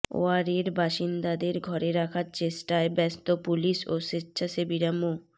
ওয়ারীর বাসিন্দাদের ঘরে রাখার চেষ্টায় ব্যস্ত পুলিশ ও স্বেচ্ছাসেবীরা মো